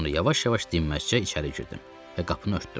Sonra yavaş-yavaş dinməzcə içəri girdim və qapını örtdüm.